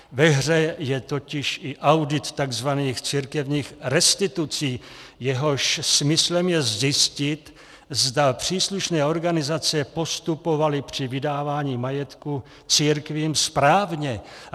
Ve hře je totiž i audit tzv. církevních restitucí, jehož smyslem je zjistit, zda příslušné organizace postupovaly při vydávání majetku církvím správně.